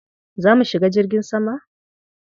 Za mu shiga jirgin sama?